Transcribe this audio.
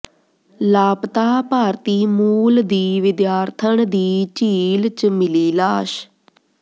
ਲਾਪਤਾ ਭਾਰਤੀ ਮੂਲ ਦੀ ਵਿਦਿਆਰਥਣ ਦੀ ਝੀਲ ਚ ਮਿਲੀ ਲਾਸ਼